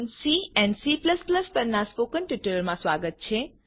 C and Cફંક્શન પરનાં spoken ટ્યુટોરીયલમાં સ્વાગત છે